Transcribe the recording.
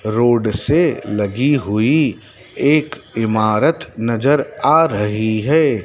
Road से लगी हुई एक इमारत नजर आ रही है।